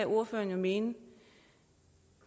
ordføreren jo mene